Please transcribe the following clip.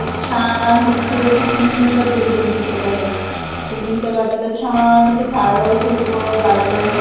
एक छान मोठी अशी सुंदर बिल्डींग दिसतं आहे बिल्डिंगच्या बाजूला छान असे झाडं झुडपं गार्डन --